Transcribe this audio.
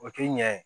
O tɛ ɲɛ ye